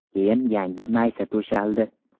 Keyin yangi maysa to‘shaldi.